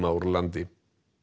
úr landi